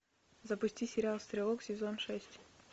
запусти сериал стрелок сезон шесть